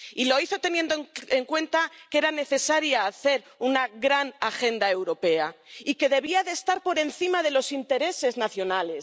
Y lo hizo teniendo en cuenta que era necesario hacer una gran agenda europea y que debía estar por encima de los intereses nacionales.